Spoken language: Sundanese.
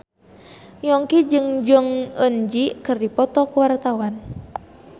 Yongki jeung Jong Eun Ji keur dipoto ku wartawan